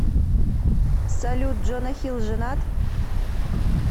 салют джона хилл женат